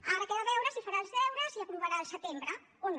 ara queda veure si farà els deures i aprovarà al setembre o no